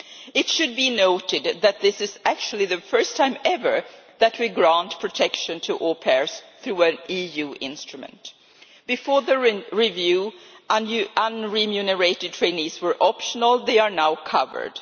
It should be noted that this is actually the first time ever that we have granted protection to au pairs through an EU instrument. Before the review, unremunerated trainees were optional, they are now covered.